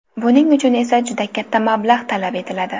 Buning uchun esa juda katta mablag‘ talab etiladi.